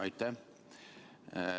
Aitäh!